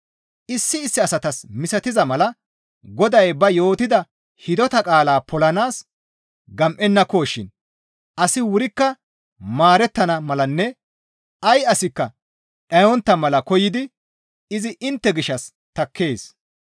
Issi issi asatas misatiza mala Goday ba yootida hidota qaalaa polanaas gam7ennakoshin asi wurikka maarettana malanne ay asikka dhayontta mala koyidi izi intte gishshas takkees.